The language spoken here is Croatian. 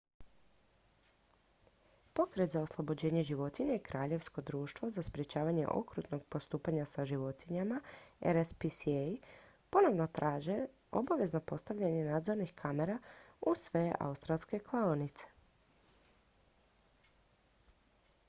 pokret za oslobođenje životinja i kraljevsko društvo za sprječavanje okrutnog postupanja sa životinjama rspca ponovno traže obavezno postavljanje nadzornih kamera u sve australske klaonice